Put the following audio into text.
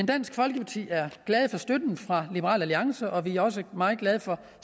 dansk folkeparti er glade for støtten fra liberal alliance og vi er også meget glade for